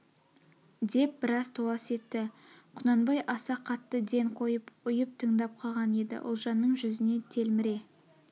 деп біраз толас етті құнанбай аса қатты ден қойып ұйып тыңдап қалған еді ұлжанның жүзіне телміре